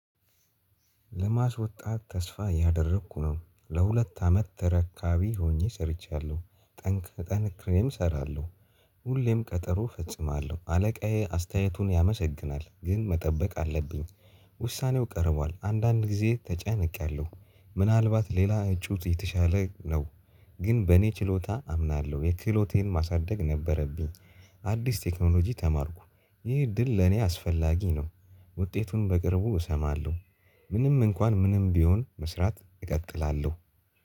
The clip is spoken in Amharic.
ለማስወጣት ተስፋ ያደረኩ ነው። ለሁለት አመት ተረካቢ ሆኜ ሰርቻለሁ። ጠንክሬም እሰራለሁ ሁሌም ቀጠሮ ፈጽማለሁ። አለቃዬ አስተያየቱን ያመሰግናል ግን መጠበቅ አለብኝ። ውሳኔው ቀርቧል። አንዳንድ ጊዜ ተጨነቄያለሁ ምናልባት ሌላ ጩጥ የተሻለ ነው ግን በእኔ ችሎታ አምናለሁ የክህሎቴን ማሳደግ ነበረብኝ። አዲስ ቴክኖሎጂ ተማርኩ ይህ እድል ለኔ አስፈላጊ ነው ውጤቱን በቅርቡ እሰማለሁ። ምንም እንኳን ምንም ቢሆን መስራት እቀጥላለሁ።